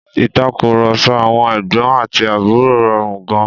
Ìtàkùrọ̀sọ àwọn ẹ̀gbọ́n àti àbúrò rọrùn gan-an.